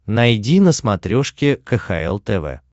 найди на смотрешке кхл тв